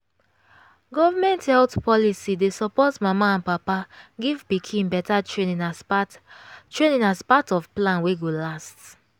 government health policy dey support mama and papa give pikin better training as part training as part of plan wey go last